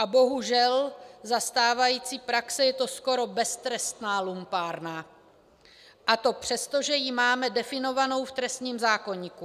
A bohužel za stávající praxe je to skoro beztrestná lumpárna, a to přesto, že ji máme definovanou v trestním zákoníku.